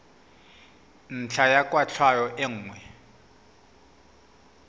ntlha ya kwatlhao e nngwe